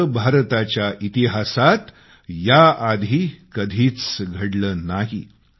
असं भारताच्या इतिहासात याआधी कधीच घडलं नाही